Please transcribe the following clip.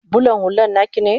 bulan hullan naki ne?